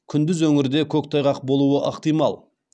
күндіз өңірде көктайғақ болуы ықтимал